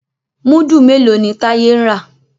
Mudu mèló ní Taye ń rà?